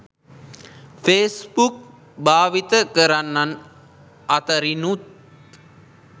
Facebook භාවිත කරන්නන් අතරිනුත්